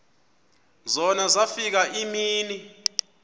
zona zafika iimini